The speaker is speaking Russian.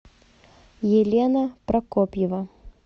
елена прокопьева